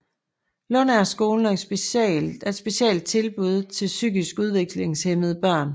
Lundagerskolen er et specialtilbud til psykisk udviklingshæmmede børn